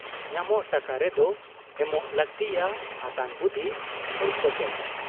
ᱧᱟᱢᱚᱜ ᱴᱟᱠᱟ ᱨᱮᱫᱚ ᱮᱢᱚᱜ ᱞᱟᱹᱠᱛᱤᱜ ᱟ ᱦᱟᱛᱟᱝ ᱵᱩᱫᱷᱤ ᱾ ᱪᱷᱚᱞ ᱠᱚᱯᱚᱴ ᱾